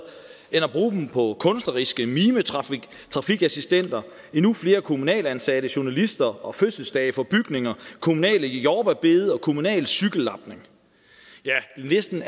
end at bruge dem på kunstneriske mimetrafikassistenter endnu flere kommunalt ansatte journalister og fødselsdage for bygninger kommunale jordbærbede og kommunal cykellapning ja listen